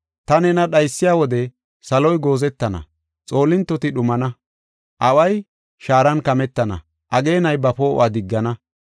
Ta nena dhaysiya wode saloy goozetana; xoolintoti dhumana; away shaaran kametana; ageenay ba poo7uwa diggana.